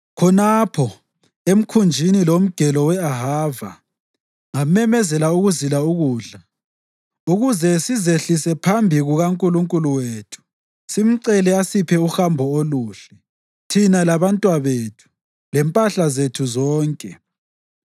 Khonapho, ekhunjini loMgelo we-Ahava, ngamemezela ukuzila ukudla, ukuze sizehlise phambi kukaNkulunkulu wethu simcele asiphe uhambo oluhle, thina labantwabethu, lempahla zethu zonke.